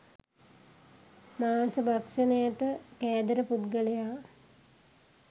මාංශ භක්ෂණයට කෑදර පුද්ගලයා